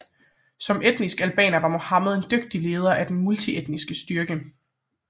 Som etnisk albaner var Muhammed en dygtig leder af den multietniske styrke